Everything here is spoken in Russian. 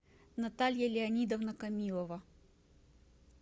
наталья леонидовна камилова